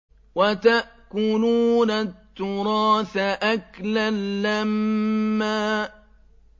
وَتَأْكُلُونَ التُّرَاثَ أَكْلًا لَّمًّا